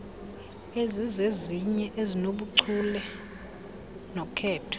ezizezinye ezinobuchule nokhetho